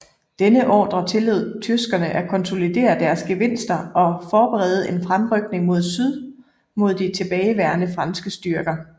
Denne ordre tillod tyskerne at konsolidere deres gevinster og forberede en fremrykning mod syd mod de tilbageværende franske styrker